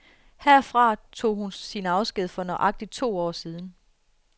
Herfra tog hun sin afsked for nøjagtigt to år siden.